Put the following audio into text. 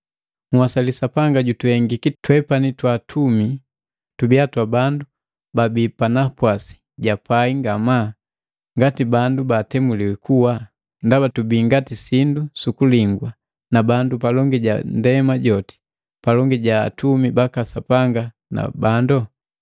Nhwasali Sapanga jutuhengiki twepani twatumi tubiya twa bandu babii panapwasi ja pai ngamaa, ngati bandu batemuliwi kuwa, ndaba tubi ngati sindu sukuligwa na bandu palongi ja ndema joti, palongi ja atumi baka sapanga na bandu.